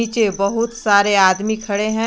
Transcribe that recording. बहुत सारे आदमी खड़े हैं।